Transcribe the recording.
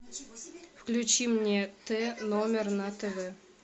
включи мне т номер на тв